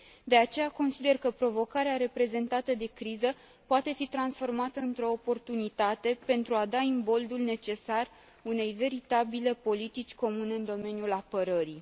De aceea, consider că provocarea reprezentată de criză poate fi transformată într o oportunitate pentru a da imboldul necesar unei veritabile politici comune în domeniul apărării.